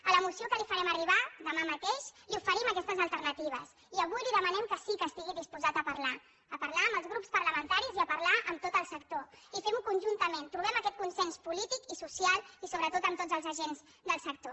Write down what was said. a la moció que li farem arribar demà mateix li oferim aquestes alternatives i avui li demanem que sí que estigui disposat a parlar a parlar amb els grups parlamentaris i a parlar amb tot el sector i fem ho conjuntament trobem aquest consens polític i social i sobretot amb tots els agents del sector